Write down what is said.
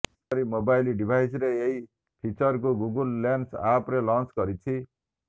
ସେହିପରି ମୋବାଇଲ୍ ଡିଭାଇସରେ ଏହି ଫିଚରକୁ ଗୁଗଲ୍ ଲେନ୍ସ ଆପରେ ଲଂଚ କରିଛି